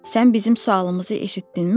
Sən bizim sualımızı eşitdinmi?